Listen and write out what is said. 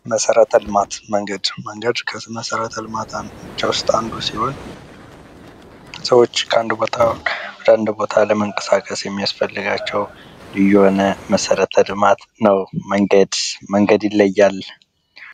መሠረተ ልማት ፦ መንገድ፦ መንገድ ከመሠረተ ልማቶች ውስጥ አንዱ ሲሆን ሰዎች ከአንድ ቦታ ወደ አንድ ቦታ ለመንቀሳቀስ የሚያስፈልጋቸው ልዩ የሆነ መሠረተ ልማት ነው። መንገድ መንገድ ይለያል።